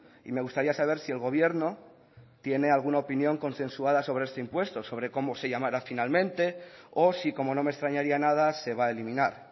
y me gustaría saber si el gobierno tiene alguna opinión consensuada sobre este impuesto sobre cómo se llamará finalmente o si como no me extrañaría nada se va a eliminar